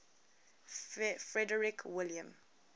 frederick william